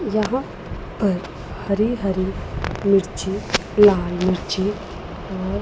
यहां पर अह हरी-हरी मिर्ची लाल मिर्ची और --